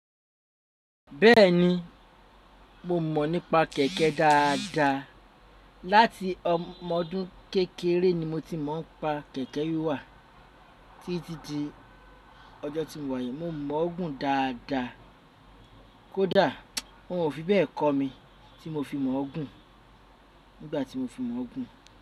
Bẹ́ẹ̀ni, mo mọ̀ nípa kẹ̀kẹ́ dáadáa. Láti ọmọ ọdún kékeré ni mo ti mọ̀ npa kẹ̀kẹ́ wíwà. Títí di ọjọ́ tí mo wáyi mo mọ̀ ọ́ gùn dáadáa. Kódà wọ́n ò fi bẹ́ẹ̀ kọ́ mi tí mo fi mọ̀ ọ́ gùn nígbà tí mo fi mọ̀ ọ́ gùn.